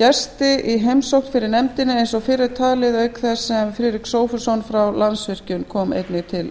gesti í heimsókn fyrir nefndina eins og fyrr er talið auk þess sem friðrik sophusson frá landsvirkjun kom einnig til